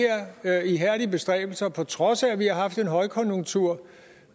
her ihærdige bestræbelser og på trods af at vi har haft en højkonjunktur